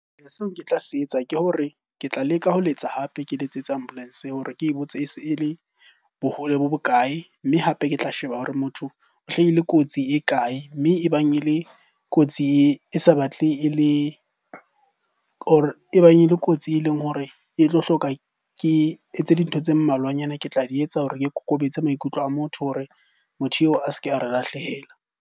Seo ke tla se etsa ke hore ke tla leka ho letsa hape ke letsetsa ambulance hore ke botse ese e le bohole bo bokae? Mme hape, ke tla sheba hore motho o hlahile kotsi e kae? Mme e bang e le kotsi e sa batle e le or e bang e le kotsi e leng hore e tlo hloka ke etse dintho tse mmalwanyana. Ke tla di etsa hore ke kokobetse maikutlo a motho hore motho eo a se ke a re lahlehela.